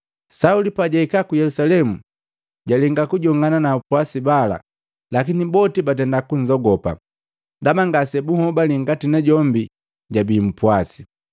Sauli pajaika ku Yelusalemu jalenga kujongana na apwasi bala. Lakini boti batenda kunzogopa ndaba ngase bunhobali ngati najombi jabii mpwase.